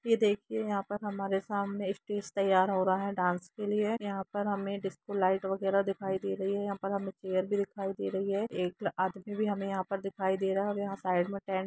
ये देखिऐ यहाँ पर हमारे सामने एक स्टेज तैयार हो रहा है डांस के लिए यहाँ पर हमे डिस्को लाईट वगेरा दिखाई दे रही है यहाँ पर हमे चेयर भी दिखाई दे रही है एक आदमी भी हमे यहाँ पर दिखाई दे रहा है यहाँ साईड में टेंट --